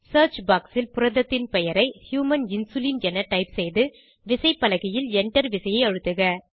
search box ல் புரதத்தின் பெயரை ஹியூமன் இன்சுலின் என டைப் செய்து விசைப்பலகையில் Enter விசையை அழுத்துக